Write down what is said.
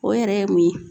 O yɛrɛ ye mun ye